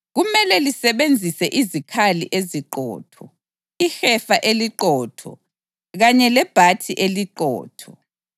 Kumele lisebenzise izikali eziqotho, ihefa eliqotho kanye lebhathi eliqotho.